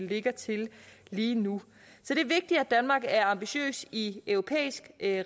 ligger til lige nu så det er vigtigt at danmark er ambitiøs i europæisk